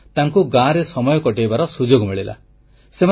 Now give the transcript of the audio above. ଫଳରେ ତାଙ୍କୁ ଗାଁରେ ସମୟ କଟେଇବାର ସୁଯୋଗ ମିଳିଲା